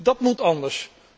Dat moet anders.